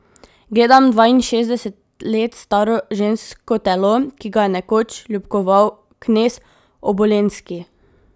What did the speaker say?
Gledam dvainšestdeset let staro žensko telo, ki ga je nekoč ljubkoval knez Obolenski?